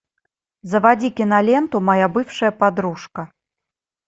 заводи киноленту моя бывшая подружка